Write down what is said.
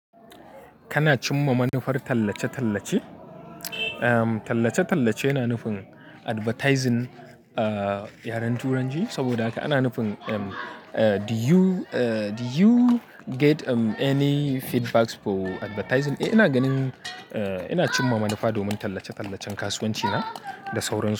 Kana cimma manufar tallace-tallace? Tallace-tallace yana nufin advertising a yaren Turanci. Saboda haka ana nufin do you, do you get any feedbacks for advertising? Eh, ina ganin ina cimma manufa domin tallace-tallacen kasuwanci na da sauran su.